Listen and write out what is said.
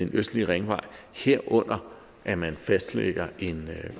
østlige ringvej stiger herunder at man fastlægger en